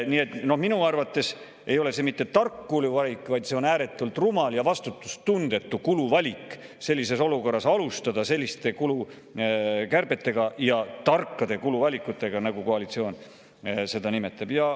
Nii et minu arvates ei ole see mitte tark kuluvalik, vaid see on ääretult rumal ja vastutustundetu kuluvalik, sellises olukorras alustada selliste kulukärbetega ja tarkade kuluvalikutega, nagu koalitsioon neid nimetab.